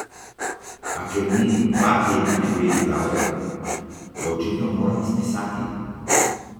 A ker mi dva tedna ne gre iz glave, ga očitno moram izpisati.